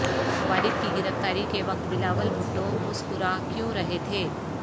والد کی گرفتاری کے وقت بلاول بھٹو مسکراکیوں رہے تھے